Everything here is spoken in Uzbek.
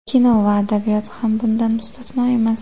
Kino va adabiyot ham bundan mustasno emas.